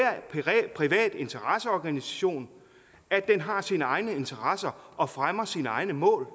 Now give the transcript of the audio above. privat interesseorganisation at den har sine egne interesser og fremmer sine egne mål